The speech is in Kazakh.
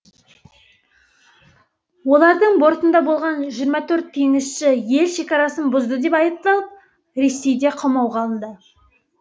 олардың бортында болған жиырма төрт теңізші ел шекарасын бұзды деп айыпталып ресейде қамауға алынды